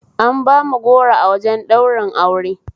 An bamu goro a wajen ɗaurin aure